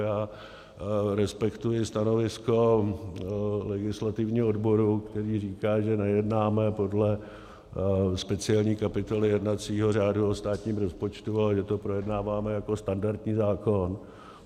Já respektuji stanovisko legislativního odboru, který říká, že nejednáme podle speciální kapitoly jednacího řádu o státním rozpočtu, ale že to projednáváme jako standardní zákon.